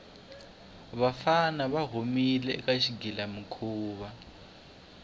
vafana va humile eka xigilamikhuva